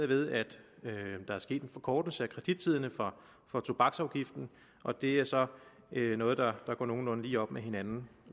ved at der er sket en forkortelse af kredittiderne for tobaksafgiften og det er så noget der går nogenlunde lige op med hinanden